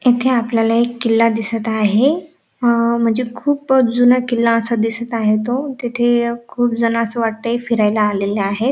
इथे आपल्याला एक किल्ला दिसत आहे अ म्हणजे खूप असा जूना किल्ला असा दिसत आहे तो तिथे खूप जण अस वाटतय फिरायला आलेले आहेत.